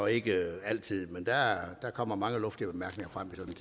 ikke altid der kommer mange luftige bemærkninger frem